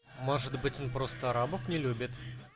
может быть он просто арабов не любит